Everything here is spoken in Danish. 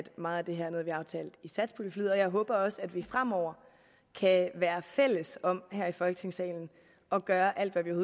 meget af det her er noget vi aftalte i satspuljeforliget og jeg håber også at vi fremover kan være fælles om her i folketingssalen at gøre alt hvad vi